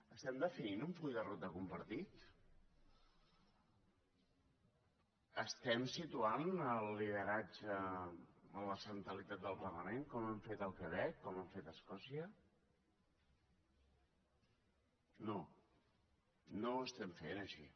estem definint un full de ruta compartit estem situant el lideratge en la centralitat del parlament com han fet al quebec com han fet a escòcia no no ho estem fent així